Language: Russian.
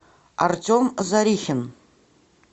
артем зарихин